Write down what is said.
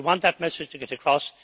we want that message to get across